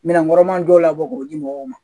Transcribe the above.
Minɛnkɔrɔma dɔw labɔ k'o di mɔgɔw ma